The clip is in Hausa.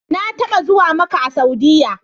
Na taɓa zuwa Makka a Saudiyya.